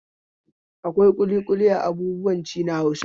Akwai ƙuliƙuli a abubuwan ci na Hausawa.